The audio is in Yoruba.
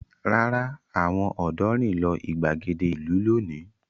Rárá, àwọn ọ̀dọ́ rìn lọ ìgbàgede ìlú lónìí.